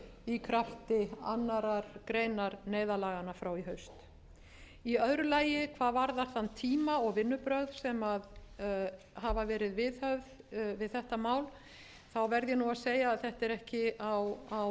í krafti annarrar greinar neyðarlaganna frá í haust í öðru lagi hvað varðar þann tíma og vinnubrögð sem hafa verið viðhöfð við þetta mál verð ég nú að segja að þetta er ekki á